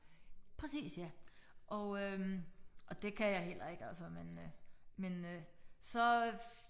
Præcis ja og øh og det kan jeg heller ikke altså men øh men øh så